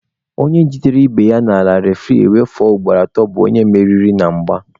Onye jidere ibe ya n'ala refuri ewere kuzuo ugboro atọ bụkwa onye meriri na mgba.